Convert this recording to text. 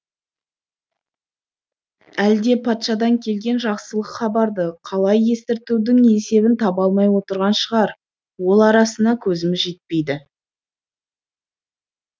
әлде патшадан келген жақсылық хабарды қалай естіртудің есебін таба алмай отырған шығар ол арасына көзіміз жетпейді